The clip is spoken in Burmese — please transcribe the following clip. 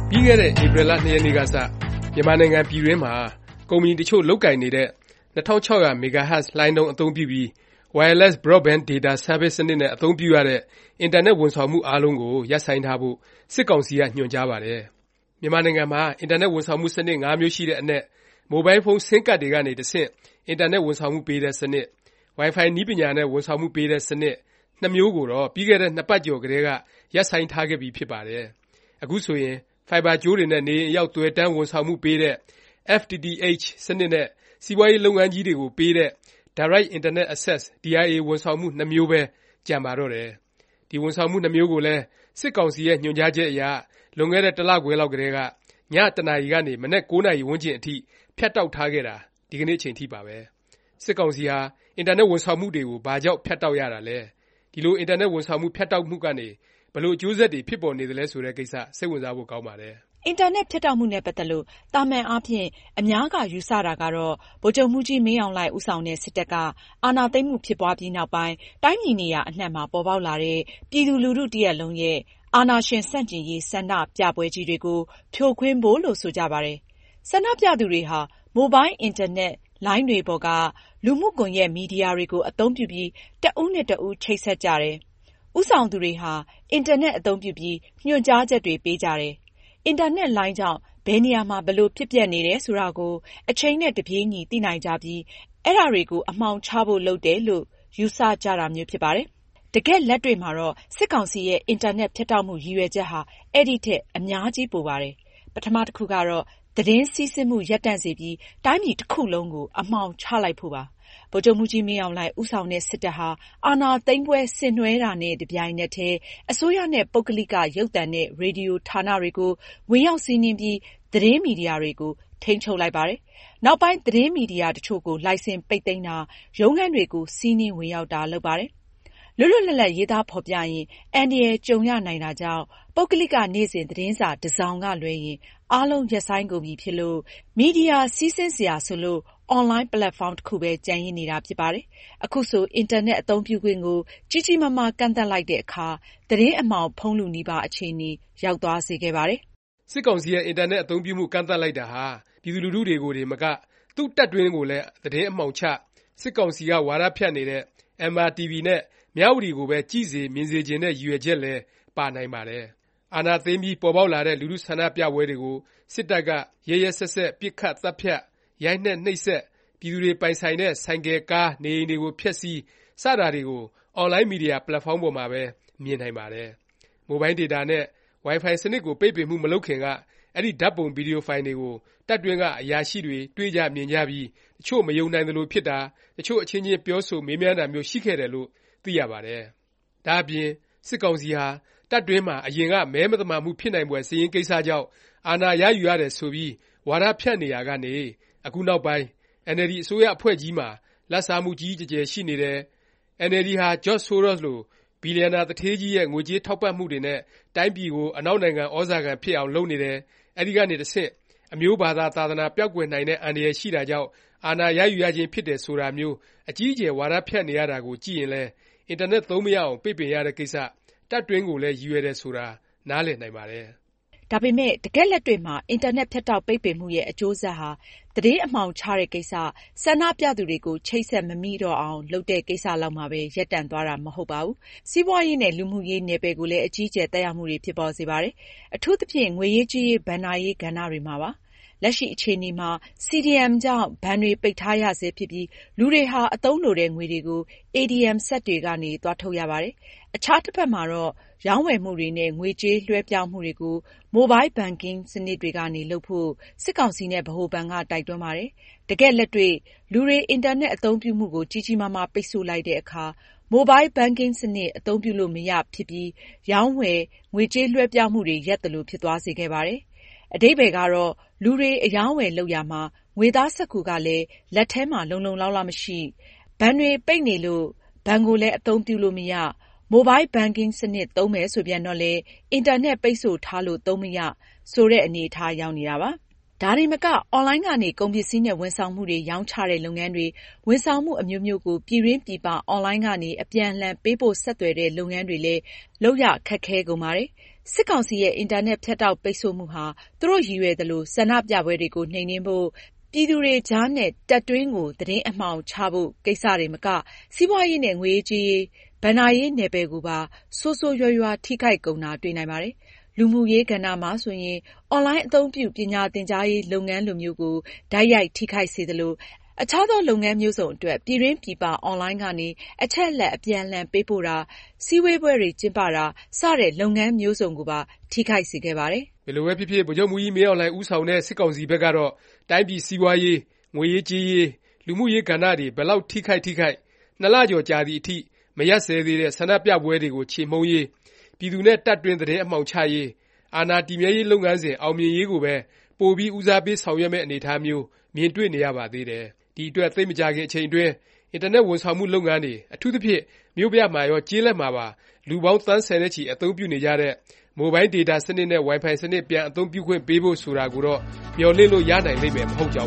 ပြီးခဲ့တဲ့ ဧပြီလ ၂ ရက်နေ့ကစ မြန်မာနိုင်ငံ ပြည်တွင်းမှာ ကုမ္ပဏီတစ်ချို့ လုပ်ကိုင်နေတဲ့ 2600MHz လှိုင်းနှုန်း အသုံးပြုပြီး Wireless Broadband Data Service စနစ်နဲ့ ဝန်ဆောင်မှု ပေးနေတဲ့ အင်တာနက် ဝန်ဆောင်မှု အားလုံးကို ရပ်ဆိုင်းထားဖို့ စစ်ကောင်စီက ညွှန်ကြားပါတယ်။ မြန်မာနိုင်ငံမှာ အင်တာနက် ဝန်ဆောင်မှု စနစ် ၅ မျိုးရှိတဲ့အနက် မိုဘိုင်းဖုန်း ဆင်းကဒ်တွေကနေ တဆင့် အင်တာနက် ဝန်ဆောင်မှု ပေးတဲ့စနစ်၊ ဝိုင်ဖိုင် နည်းပညာနဲ့ ဝန်ဆောင်မှု ပေးတဲ့ စနစ် ၂ မျိုးကိုတော့ ပြီးခဲ့တဲ့ ၂ ပတ်ကျော် ကတည်းက ရပ်ဆိုင်းထားခဲ့ပြီး ဖြစ်ပါတယ်။ အခုဆိုရင် ဖိုင်ဘာ ကြိုးတွေနဲ့ နေအိမ်အရောက် သွယ်တန်း ဝန်ဆောင်မှုပေးတဲ့ FTTH စနစ် နဲ့ စီးပွားရေး လုပ်ငန်းကြီးတွေကို ပေးတဲ့ Direct Internet Access ဝန်ဆောင်မှု နှစ်မျိုးပဲ ကျန်ပါတော့တယ်။ ဒီ ဝန်ဆောင်မှု နှစ်မျိုးကိုလည်း စစ်ကောင်စီရဲ့ ညွှန်ကြားချက်အရ လွန်ခဲ့တဲ့ တစ်လခွဲလောက်ကတည်းက ည ၁း၀၀ နာရီကနေ မနက် ၉း၀၀ ဝန်းကျင် အထိ ဖြတ်တောက်ထားခဲ့တာ ဒီကနေ့ အချိန်ထိပါပဲ။ စစ်ကောင်စီဟာ အင်တာနက် ဝန်ဆောင်မှုတွေကို ဘာကြောင့် ဖြတ်တောက် ရတာလဲ၊ ဒီလို အင်တာနက် ဝန်ဆောင်မှု ဖြတ်တောက်မှုကနေ ဘယ်လို အကျိုးဆက်တွေ ဖြစ်ပေါ်နေသလဲ ဆိုတဲ့ကိစ္စ စိတ်ဝင်စားဖို့ ကောင်းပါတယ်။ အင်တာနက် ဖြတ်တောက်မှုနဲ့ ပတ်သက်လို့ သာမန်အားဖြင့် အများက ယူဆတာကတော့ ဗိုလ်ချုပ်မှူးကြီး မင်းအောင်လှိုင် ဦးဆောင်တဲ့ စစ်တပ်က အာဏာသိမ်းမှု ဖြစ်ပွားပြီး နောက်ပိုင်း တိုင်းပြည် နေရာ အနှံ့မှာ ပေါ်ပေါက်လာတဲ့ ပြည်သူလူထု တစ်ရပ်လုံးရဲ့ အာဏာရှင် ဆန့်ကျင်ရေး ဆန္ဒပြပွဲကြီးတွေကို ဖြိုခွင်းဖို့လို့ ဆိုကြပါတယ်။ ဆန္ဒပြသူတွေဟာ မိုဘိုင်း အင်တာနက် လိုင်းတွေပေါ်က လူမှုကွန်ယက် မီဒီယာတွေကို အသုံးပြုပြီး တစ်ဦးနဲ့ တစ်ဦး ချိတ်ဆက်ကြတယ်၊ ဦးဆောင်သူတွေဟာ အင်တာနက် အသုံးပြုပြီး ညွှန်ကြားချက်တွေ ပေးကြတယ်၊ အင်တာနက်လိုင်းကြောင့် ဘယ်နေရာမှာ ဘယ်လို ဖြစ်ပျက်နေတယ် ဆိုတာကို အချိန်နဲ့ တပြေးညီ သိနိုင်ကြပြီး အဲဒါတွေကို အမှောင်ချဖို့ လုပ်တယ် လို့ ယူဆကြတာမျိုး ဖြစ်ပါတယ်။ တကယ့်လက်တွေ့မှာတော့ စစ်ကောင်စီရဲ့ အင်တာနက် ဖြတ်တောက်မှု ရည်ရွယ်ချက်ဟာ အဲဒီထက် အများကြီးပိုပါတယ်။ ပထမ တစ်ခုကတော့ သတင်းစီးဆင်းမှု ရပ်တန့်စေပြီး တိုင်းပြည် တစ်ခုလုံးကို အမှောင်ချလိုက်ဖို့ပါ။ ဗိုလ်ချုပ်မှူးကြီး မင်းအောင်လှိုင် ဦးဆောင်တဲ့ စစ်တပ်ဟာ အာဏာသိမ်းပွဲ ဆင်နွဲှတာနဲ့ တစ်ပြိုင်နက်တည်း အစိုးရနဲ့ ပုဂ္ဂလိက ရုပ်သံနဲ့ ရေဒီယို ဌာနတွေကို ဝင်ရောက်စီးနင်းပြီး သတင်းမီဒီယာတွေကို ထိမ်းချုပ်လိုက်ပါတယ်။ နောက်ပိုင်း သတင်းမီဒီယာ တစ်ချို့ကို လိုင်စင် ပိတ်သိမ်းတာ၊ ရုံးခန်းတွေကို စီးနင်း ဝင်ရောက်တာ လုပ်ပါတယ်။ လွတ်လွတ်လပ်လပ် ရေးသားဖော်ပြရင် အန္တရာယ်ကြုံရနိုင်တာကြောင့် ပုဂ္ဂလိက နေ့စဉ် သတင်းစာ တစ်စောင်ကလွဲရင် အားလုံး ရပ်ဆိုင်းကုန်ပြီဖြစ်လို့ မီဒီယာ စီးဆင်းစရာဆိုလို့ အွန်လိုင်း ပက်လက်ဖေါင်း တစ်ခုပဲ ကျန်ရစ်နေတာ ဖြစ်ပါတယ်။ အခုဆို အင်တာနက် အသုံးပြုခွင့်ကို ကြီးကြီးမားမား ကန့်သတ်လိုက်တဲ့အခါ သတင်း အမှောင်ဖုံးလုနီး အခြေအနေ ရောက်သွားစေခဲ့ပါတယ်။ စစ်ကောင်စီရဲ့ အင်တာနက် အသုံးပြုမှု ကန့်သတ်လိုက်တာဟာ ပြည်သူလူထုတွေကို တင်မက သူ့တပ်တွင်းကိုလည်း သတင်းအမှောင်ချ၊ စစ်ကောင်စီက ဝါဒဖြန့်နေတဲ့ MRTV နဲ့ မြဝတီကိုပဲ ကြည့်စေ မြင်စေချင်တဲ့ ရည်ရွယ်ချက်လည်း ပါနိုင်ပါတယ်။ အာဏာသိမ်းပြီး ပေါ်ပေါက်လာတဲ့ လူထု ဆန္ဒပြပွဲတွေကို စစ်တပ်က ရက်ရက်စက်စက် ပစ်ခတ်၊ သတ်ဖြတ်၊ ရိုက်နှက်၊ နှိပ်စက်၊ ပြည်သူတွေ ပိုင်ဆိုင်တဲ့ ဆိုင်ကယ်၊ ကား၊ နေအိမ်တွေကို ဖျက်ဆီး စတာတွေကို အွန်လိုင်း မီဒီယာ ပက်လက်ဖေါင်းပေါ်မှာပဲ မြင်နိုင်ပါတယ်။ မိုဘိုင်းဒေတာနဲ့ ဝိုင်ဖိုင်စနစ်ကို ပိတ်ပင်မှု မလုပ်ခင်က အဲဒီ ဓာတ်ပုံ၊ ဗီဒီယိုဖိုင်တွေကို တပ်တွင်းက အရာရှိတွေ တွေ့ကြ၊ မြင်ကြပြီး တစ်ချို့ မယုံနိုင်သလို ဖြစ်တာ၊ တစ်ချို့ အချင်းချင်းပြောဆို မေးမြန်းတာမျိုး ရှိခဲ့တယ်လို့ သိရပါတယ်။ ဒါ့အပြင် စစ်ကောင်စီဟာ တပ်တွင်းမှာ အရင်က မဲမသမာမှု ဖြစ်နိုင်ဖွယ် မဲစာရင်းကိစ္စကြောင့် အာဏာရယူရတယ် ဆိုပြီး ဝါဒဖြန့်နေရာကနေ၊ အခုနောက်ပိုင်း အင်န်အယ်လ်ဒီ အစိုးရအဖွဲ့ကြီးမှာ လာဘ်စားမှု ကြီးကြီးကျယ်ကျယ် ရှိနေတယ်၊ အင်န်အယ်လ်ဒီ ဟာ ဘီလျံနာ သူဌေးကြီးရဲ့ ငွေကြေးထောက်ပံ့မှုတွေနဲ့ တိုင်းပြည်ကို အနောက်နိုင်ငံ သြဇာခံ ဖြစ်အောင် လုပ်နေတယ်၊ အဲဒီကနေ တဆင့် အမျိုးဘာသာ သာသနာ ပျောက်ကွယ်နိုင်တဲ့ အန္တရာယ် ရှိတာကြောင့် အာဏာရယူရခြင်း ဖြစ်တယ် ဆိုတာမျိုး အကြီးအကျယ် ဝါဒဖြန့်နေရတာကို ကြည့်ရင်လည်း အင်တာနက် သုံးမရအောင် ပိတ်ပင်ရတဲ့ကိစ္စ တပ်တွင်းကိုလည်း ရည်ရွယ်တယ် ဆိုတာ နားလည်နိုင်ပါတယ်။ ဒါပေမယ့် တကယ့်လက်တွေ့မှာ အင်တာနက် ဖြတ်တောက် ပိတ်ပင်မှုရဲ့ အကျိုးဆက်ဟာ သတင်းအမှောင်ချတဲ့ကိစ္စ၊ ဆန္ဒပြသူတွေကို ချိတ်ဆက် မမိတော့အောင် လုပ်တဲ့ကိစ္စလောက်မှာပဲ ရပ်တန့်သွားတာတော့ မဟုတ်ပါဘူး။ စီးပွားရေးနဲ့ လူမှုရေး နယ်ပယ်ကိုလည်း အကြီးအကျယ် သက်ရောက်မှုတွေ ဖြစ်ပေါ်စေပါတယ်။ အထူးသဖြင့် ငွေရေးကြေးရေး ဘဏ္ဍာရေး ကဏ္ဍမှာပါ။ လက်ရှိ အခြေအနေမှာ CDM ကြောင့် ဘဏ်တွေ ပိတ်ထားရဆဲဖြစ်ပြီး လူတွေဟာ အသုံးလိုတဲ့ငွေတွေကို ATM စက်တွေကနေ သွားထုတ်ရပါတယ်။ အခြားတစ်ဖက်မှာတော့ ရောင်းဝယ်မှုတွေနဲ့ ငွေကြေး လွဲှပြောင်းမှုတွေကို Mobile Banking စနစ်တွေကနေ လုပ်ဖို့ စစ်ကောင်စီနဲ့ ဗဟိုဘဏ်က တိုက်တွန်းပါတယ်။ တကယ်လက်တွေ့ လူတွေ အင်တာနက် အသုံးပြုမှုကို ကြီးကြီးမားမား ပိတ်ဆို့လိုက်တဲ့အခါ Mobile Banking စနစ် အသုံးပြုလို့မရဖြစ်ပြီး ရောင်းဝယ်၊ ငွေကြေးလွဲှပြောင်းမှုတွေ ရပ်သလို ဖြစ်သွားစေခဲ့ပါတယ်။ အဓိပ္ပါယ်ကတော့ လူတွေ အရောင်းအဝယ် လုပ်ရာမှာ ငွေသားစက္ကူကလည်း လက်ထဲမှာ လုံလုံလောက်လောက် မရှိ၊ ဘဏ်တွေ ပိတ်နေလို့ ဘဏ်ကိုလည်း အသုံးပြုလို့မရ၊ Mobile Banking စနစ် သုံးမယ် ဆိုပြန်တော့လည်း အင်တာနက် ပိတ်ဆို့ထားလို့ သုံးမရ ဆိုတဲ့ အနေအထား ရောက်နေတာပါ။ ဒါတင်မက အွန်လိုင်းကနေ ကုန်ပစ္စည်းနဲ့ ဝန်ဆောင်မှုတွေ ရောင်းချတဲ့ လုပ်ငန်းတွေ၊ ဝန်ဆောင်မှု အမျိုးမျိုးကို ပြည်တွင်း၊ ပြည်ပ အွန်လိုင်းကနေ အပြန်အလှန် ပေးပို့ ဆက်သွယ်တဲ့ လုပ်ငန်းတွေလည်း လုပ်ရခက်ခဲကုန်ပါတယ်။ စစ်ကောင်စီရဲ့ အင်တာနက် ဖြတ်တောက် ပိတ်ဆို့မှုဟာ သူတို့ရည်ရွယ်သလို ဆန္ဒပြပွဲတွေကို နှိမ်နင်းဖို့၊ ပြည်သူတွေကြားနဲ့ တပ်တွင်းကို သတင်းအမှောင်ချဖို့ ကိစ္စတင်မက စီးပွားရေးနဲ့ ငွေရေးကြေးရေး ဘဏ္ဍာရေး နယ်ပယ်ကိုပါ ဆိုးဆိုးရွားရွား ထိခိုက်ကုန်တာ တွေ့နိုင်ပါတယ်။ လူမှုရေး ကဏ္ဍမှာဆိုရင်လည်း အွန်လိုင်းအသုံးပြု ပညာသင်ကြားရေး လုပ်ငန်းလိုမျိုးကို တိုက်ရိုက် ထိခိုက်စေသလို၊ အခြားသော လုပ်ငန်း မျိုးစုံအတွက် ပြည်တွင်းပြည်ပ အွန်လိုင်းကနေ အချက်အလက် အပြန်အလှန် ပေးပို့တာ၊ စည်းဝေးပွဲတွေ ကျင်းပတာ စတဲ့ လုပ်ငန်းမျိုးစုံကိုပါ ထိခိုက်စေခဲ့ပါတယ်။ ဘယ်လိုပဲဖြစ်ဖြစ် ဗိုလ်ချုပ်မှူးကြီး မင်းအောင်လှိုင် ဦးဆောင်တဲ့ စစ်ကောင်စီဘက်ကတော့ တိုင်းပြည် စီးပွားရေး၊ ငွေရေးကြေးရေး၊ လူမှုရေး ကဏ္ဍတွေ ဘယ်လောက် ထိခိုက် ထိခိုက် ၂ လကျော်ကြာသည်အထိ မရပ်စဲသေးတဲ့ ဆန္ဒပြပွဲတွေကို ချေမှုန်းရေး၊ ပြည်သူနဲ့ တပ်တွင်း သတင်းအမှောင်ချရေး၊ အာဏာတည်မြဲရေး လုပ်ငန်းစဉ် အောင်မြင်ရေးကိုပဲ ပိုပြီး ဦးစားပေး ဆောင်ရွက်မယ့် အနေအထားမျိုး မြင်တွေ့နေရပါသေးတယ်။ ဒီအတွက် သိပ်မကြာခင် အချိန်အတွင်း အင်တာနက် ဝန်ဆောင်မှု လုပ်ငန်းတွေ၊ အထူးသဖြင့် မြို့ပြမှာရော ကျေးလက်မှာပါ လူပေါင်း သန်းဆယ်နဲ့ချီ အသုံးပြုနေကြတဲ့ မိုဘိုင်းဒေတာ စနစ်နဲ့ ဝိုင်ဖိုင်စနစ် ပြန်အသုံးပြုခွင့်ပေးဖို့ ဆိုတာကိုတော့ မျှော်လင့်လို့ ရနိုင်လိမ့်မယ် မဟုတ်ကြောင်